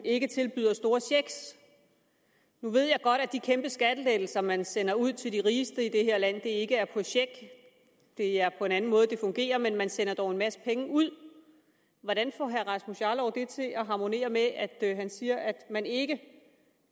ikke tilbyder store checks nu ved jeg godt at de kæmpe skattelettelser man sender ud til de rigeste i det her land ikke er på check det er en anden måde det fungerer på men man sender dog en masse penge ud hvordan får herre rasmus jarlov det til at harmonere med at han siger at man ikke